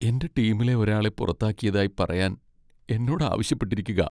എന്റെ ടീമിലെ ഒരാളെ പുറത്താക്കിയതായി പറയാൻ എന്നോട് ആവശ്യപ്പെട്ടിരിക്കുകാ.